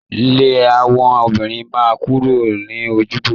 Le àwọn obìnrin náà kúrò l'ojubọ.